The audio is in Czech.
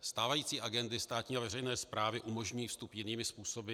Stávající agendy státní a veřejné správy umožňují vstup jinými způsoby.